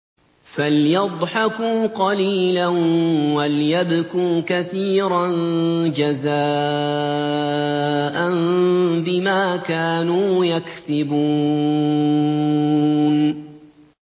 فَلْيَضْحَكُوا قَلِيلًا وَلْيَبْكُوا كَثِيرًا جَزَاءً بِمَا كَانُوا يَكْسِبُونَ